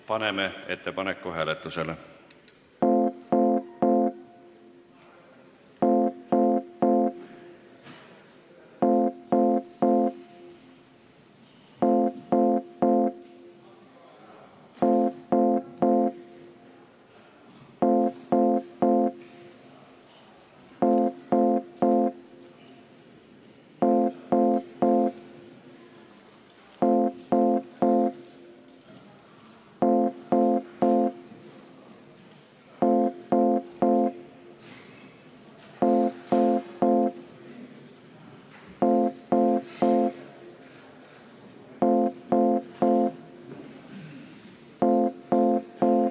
Paneme ettepaneku hääletusele.